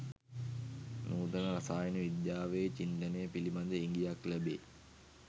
නූතන රසායන විද්‍යාවේ චින්තනය පිළිබඳ ඉඟියක් ලැබේ